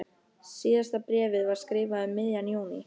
Síðasta bréfið var skrifað um miðjan júní.